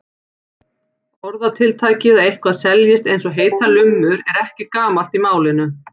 Orðatiltækið að eitthvað seljist eins og heitar lummur er ekki gamalt í málinu.